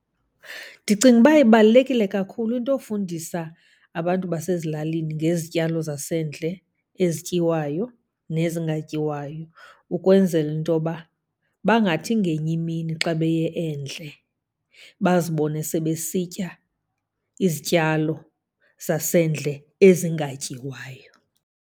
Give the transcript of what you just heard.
Ndicinga uba ibalulekile kakhulu into yofundisa abantu basezilalini ngezityalo zasendle ezityiwayo nezingatyiwayo. Ukwenzela into yoba bangathi ngenye imini xa beye endle bazibone sebesitya izityalo zasendle ezingatyiwayo.